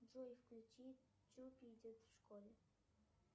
джой включи чупи идет в школе